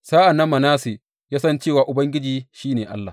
Sa’an nan Manasse ya san cewa Ubangiji shi ne Allah.